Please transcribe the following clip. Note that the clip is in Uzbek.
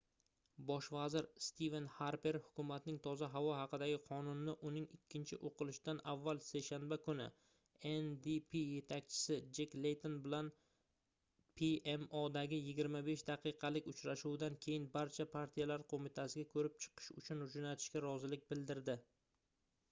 bosh vazir stiven xarper hukumatning toza havo haqidagi qonuni"ni uning ikkinchi o'qilishidan avval seshanba kuni ndp yetakchisi jek leyton bilan pmodagi 25 daqiqalik uchrashuvdan keyin barcha partiyalar qo'mitasiga ko'rib chiqish uchun jo'natishga rozilik bildirdi